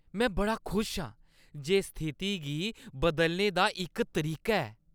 में बड़ा खुश आं जे स्थिति गी बदलने दा इक तरीका है ।